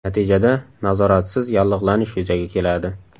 Natijada nazoratsiz yallig‘lanish yuzaga keladi.